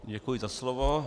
Děkuji za slovo.